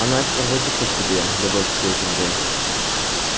она ещё пробудится в тебе любовь к своей земле